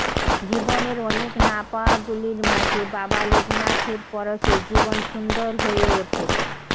জীবনের অনেক না পাওয়াগুলির মাঝে বাবা লোকনাথের পরশে জীবন সুন্দর হয়ে ওঠে